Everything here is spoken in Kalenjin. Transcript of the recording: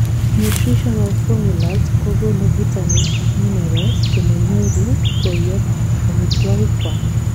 nutritional formulas kogonu vitamins ak minerals chemonyoru koyob omitwogik kwak